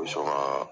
U bɛ sɔn ka